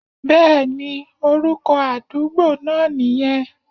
Bẹ́ẹ̀ni, orúkọ àdúgbo náà nìyẹn